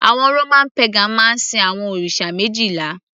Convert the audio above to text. àwọn Roman pagan máa ń sin àwọn òrìṣà méjìlá